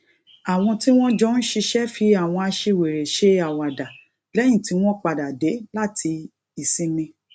àwọn tí wọn jọ ń ṣiṣẹ fi àwọn aṣiwèrè ṣe àwàdà lẹyìn tó padà dé láti ìsinmi